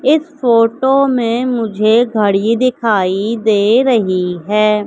इस फोटो में मुझे घड़ी दिखाई दे रही है।